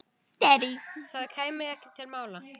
Það kæmi ekki til mála.